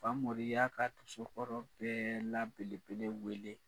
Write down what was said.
Famori y'a ka dosokɔrɔ bɛɛ la belebele weele